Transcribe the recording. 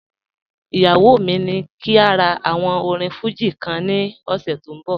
Iyawọ mi ni kí n rà àwòn orín Fuji kan ní òṣè tó n bọ̀